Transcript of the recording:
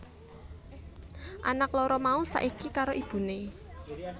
Anak loro mau saiki karo ibuné